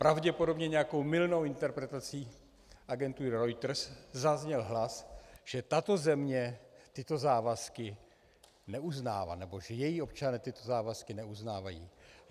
Pravděpodobně nějakou mylnou interpretací agentury Reuters zazněl hlas, že tato země tyto závazky neuznává, nebo že její občané tyto závazky neuznávají.